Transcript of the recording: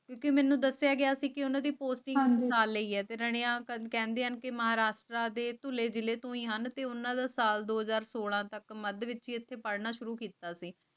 ਕੇ ਮੈਨੂੰ ਦੱਸਿਆ ਗਿਆ ਸੀ ਭਰੀ ਕਿ ਉਹਨਾਂ ਦੀ ਪਾਰਟੀ ਤਾਂ ਕੰਨ ਕਹਿੰਦੇ ਹਨ ਕਿ ਮਾਂ ਰਾਤਰਾ ਦੇ ਧੌਲ਼ੇ ਦਿਲੇ ਤੋਂ ਹੀ ਹਨ ਤੇ ਉਨ੍ਹਾਂ ਦਾ ਸਾਲ ਦੋ ਸੌ ਸੋਲਾਂਹ ਵਿਚ ਇਥੇ ਪੜ੍ਹਨਾ ਸ਼ੁਰੂ ਕੀਤਾ ਸੀ